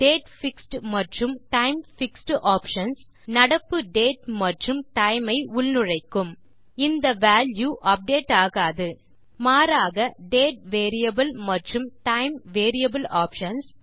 date மற்றும் time options நடப்பு date மற்றும் டைம் ஐ உள்நுழைக்கும் இந்த வால்யூ அப்டேட் ஆகாது மாறாக டேட் மற்றும் டைம் ஆப்ஷன்ஸ்